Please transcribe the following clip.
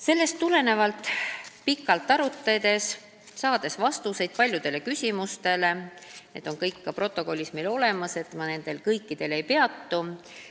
Sellest tulenevalt oli meil pikk arutelu ja saadi vastused paljudele küsimustele – need kõik on ka protokollis olemas, ma kõikidel ei peatu.